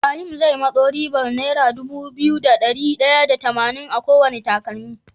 Ibahim ze masu ribar naira Dubu biyu da dari daya da tamanin akowane takalmi